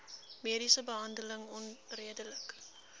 mediese behandeling onredelik